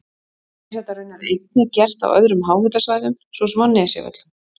Er þetta raunar einnig gert á öðrum háhitasvæðum svo sem á Nesjavöllum.